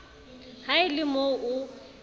ha e le mo o